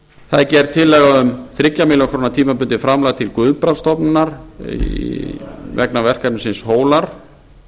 það er gerð tillaga um þrjár milljónir króna tímabundið framlag til guðbrandsstofnunar vegna verkefnisins hólar